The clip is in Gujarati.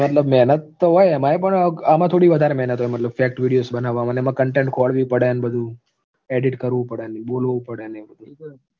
મહેનત તો હોય એમાંય પણ આમાં થોડી વધારે મહેનત હોય મતલબ fact videos બનાવવામાં એમાં content ખોરવી પડે ને બધું edit કરવું પડે બોલવું પડે ને એવું બધું